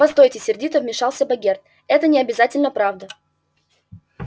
постойте сердито вмешался богерт это не обязательно правда